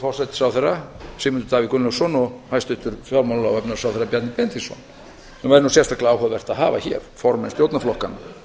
forsætisráðherra sigmundur davíð gunnlaugsson og hæstvirtur fjármála og efnahagsráðherra bjarni benediktsson sem væri nú sérstaklega áhugavert að hafa hér formenn stjórnarflokkanna